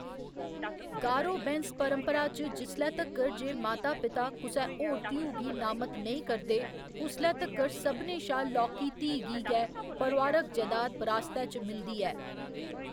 गारो बैंस्स परपंरा च जिसलै तक्कर जे मां पिता कुसै होर धीऊ गी नामत नेईं करदे, उसले तक्कर सभनें शा लौह्‌‌‌की धीऽ गी गै परोआरक जैदाद बरासतै च मिलदी ऐ।